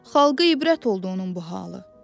Xalqa ibrət oldu onun bu halı.